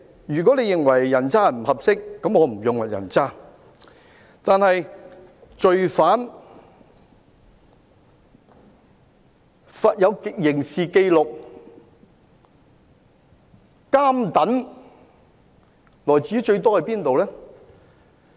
如果你認為"人渣"不合適，那麼我便不用"人渣"，但是，罪犯、有刑事紀錄的人、"監躉"最多來自哪裏？